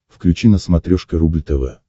включи на смотрешке рубль тв